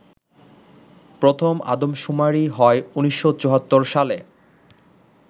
প্রথম আদমশুমারি হয় ১৯৭৪ সালে